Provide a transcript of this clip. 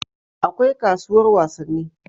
akwai kasuwar wasanni